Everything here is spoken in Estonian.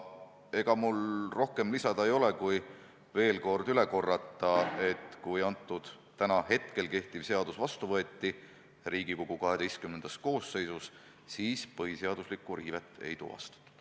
Ega mul rohkem midagi lisada ei ole kui veel üle korrata: kui kehtiv seadus Riigikogu XII koosseisus vastu võeti, siis põhiseaduslikku riivet ei tuvastatud.